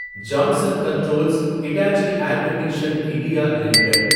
Johnson controls Hitachi air condition India limited